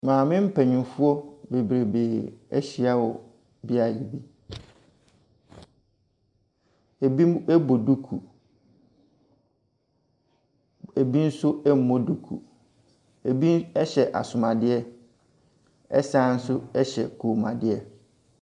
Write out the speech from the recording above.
Maame mpanimfoɔ beberee ahyia mu wɔ beaɛ bi, ebi bɔ duku, ebi nso mmɔ duku, ebi hyɛ asumadeɛ ɛsane hyɛ kɔnmuadeɛ.